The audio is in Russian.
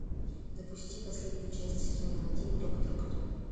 запусти последнюю часть сезона один доктор кто